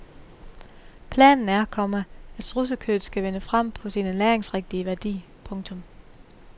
Planen er, komma at strudsekødet skal vinde frem på sin ernæringsrigtige værdi. punktum